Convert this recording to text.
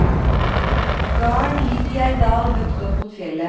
Garden ligg i ein dal høgt opp mot fjellet.